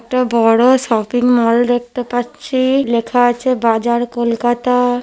এটা বড়ো শপিংমল দেখতে পাচ্ছি ই লেখা আছে বাজার কলকাতা-আ।